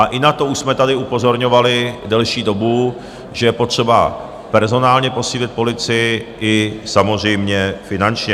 A i na to už jsme tady upozorňovali delší dobu, že je potřeba personálně posílit policii, i samozřejmě finančně.